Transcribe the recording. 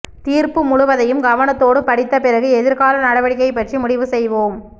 தீர்ப்பு முழுவதையும் கவனத்தோடு படித்த பிறகு எதிர்கால நடவடிக்கை பற்றி முடிவு செய்வோம்